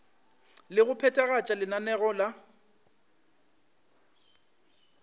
le go phethagatša lenaneo la